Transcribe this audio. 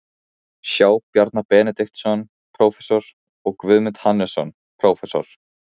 sjá Bjarna Benediktsson, prófessor, og Guðmund Hannesson, prófessor.